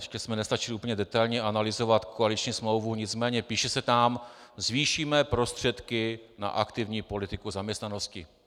Ještě jsme nestačili úplně detailně analyzovat koaliční smlouvu, nicméně píše se tam: zvýšíme prostředky na aktivní politiku zaměstnanosti.